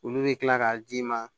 Olu bɛ kila k'a d'i ma